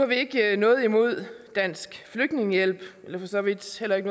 vi ikke noget imod dansk flygtningehjælp og for så vidt heller ikke